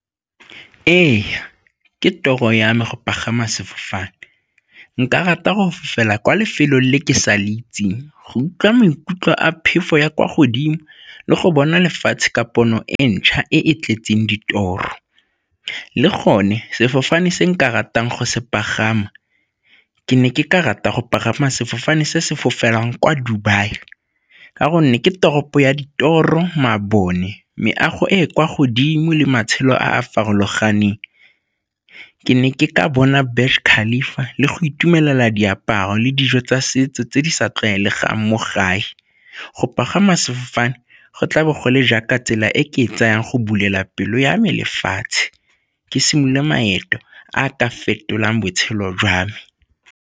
Ee, ke tiro ya me go pagama sefofane, nka rata gore fela kwa lefelong le ke sa le itseng go utlwa maikutlo a phefo ya kwa godimo le go bona lefatshe ka pono e ntšha e e tletseng ditoropo. Le gone sefofane se nka ratang go se pagama ke ne ke ka rata go pagama sefofane se se fofela kwa Dubai ka gonne ke toropo ya ditoro, mabone, meago e e kwa godimo le matshelo a a farologaneng. Ke ne ke ka bona le go itumelela diaparo le dijo tsa setso tse di sa tlwaelegang mo gae. Go pagama sefofane go tla bogole jaaka tsela e ke e tsayang go bulela pelo ya me lefatshe, ke simolole maeto a ka fetolang botshelo jwa me.